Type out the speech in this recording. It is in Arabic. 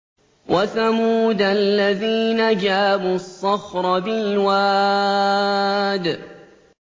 وَثَمُودَ الَّذِينَ جَابُوا الصَّخْرَ بِالْوَادِ